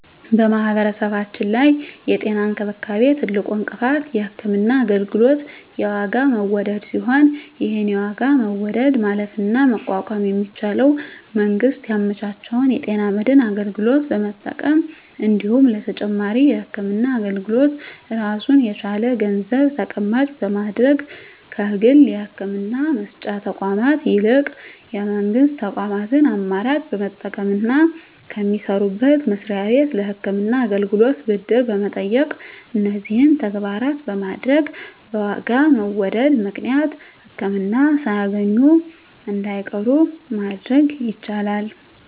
በማህበረሰባችን ላይ የጤና እንክብካቤ ትልቁ እንቅፋት የህክምና አገልግሎት የዋጋ መወደድ ሲሆን ይህን የዋጋ መወደድ ማለፍና መቋቋም የሚቻለው መንግስት ያመቻቸውን የጤና መድን አገልግሎት በመጠቀም እንዲሁም ለተጨማሪ የህክምና አገልግሎት ራሱን የቻለ ገንዘብ ተቀማጭ በማድረግ ከግል የህክምና መስጫ ተቋማት ይልቅ የመንግስት ተቋማትን አማራጭ በመጠቀምና ከሚሰሩበት መስሪያ ቤት ለህክምና አገልግሎት ብድር በመጠየቅ እነዚህን ተግባራት በማድረግ በዋጋ መወደድ ምክንያት ህክምና ሳያገኙ እንዳይቀሩ ማድረግ ይቻላል።